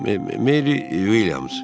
Merri Uilyams.